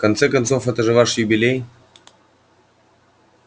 в конце концов это же ваш юбилей